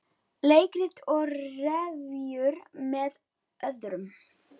Leikrit og revíur með öðrum